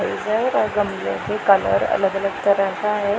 ओर गमले के कलर अलग अलग तरह का है।